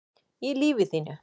í lífi þínu